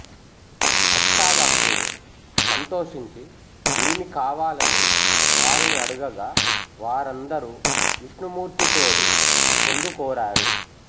అష్టావక్రుడు సంతోషించి ఏమి కావాలని వారిని అడుగగా వారందరూ విష్ణుమూర్తితోడి పొందుకోరారు